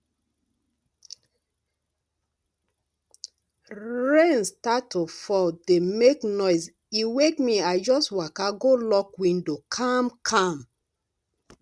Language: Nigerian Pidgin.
rain start to fall dey make noise e wake me i just waka go lock window calmcalm